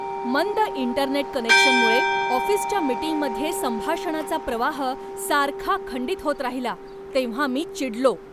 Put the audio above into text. मंद इंटरनेट कनेक्शनमुळे ऑफिसच्या मीटिंगमध्ये संभाषणाचा प्रवाह सारखा खंडित होत राहिला तेव्हा मी चिडलो.